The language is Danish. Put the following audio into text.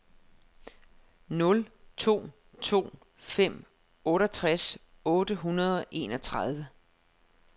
nul to to fem otteogtres otte hundrede og enogtredive